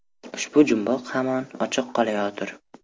Ushbu jumboq hamon ochiq qolayotir.